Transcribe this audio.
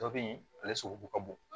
Dɔ be yen ale sogo ka bon